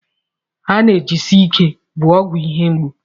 Analjesik bụ ọgwụ ihe mgbu.